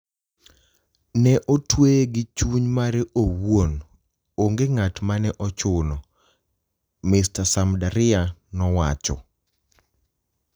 Ne otweye gi chuny mare owuon, onge ng'at mane ochuno," Mr. Samdariya nowacho.